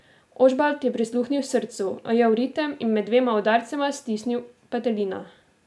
Ožbalt je prisluhnil srcu, ujel ritem in med dvema udarcema stisnil petelina.